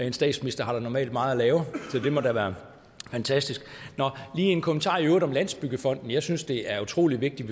en statsminister har jo normalt meget at lave så det må da være fantastisk nå lige en kommentar i øvrigt om landsbyggefonden jeg synes det er utrolig vigtigt